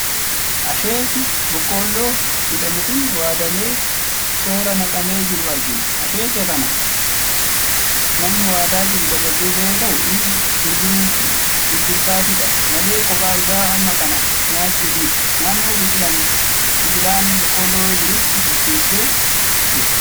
Asheetii boqqoloo jedhamu kan waadamee toora naqamee jiru argina. Asheetii kana namni waadaa jiru dargaggeessa yoo ta'u innis gurgurtaafidha malee kophaa isaa hamma kana nyaachuuf miti. Naannoo biqilaan boqqolloo jirutti bicheessaa jira.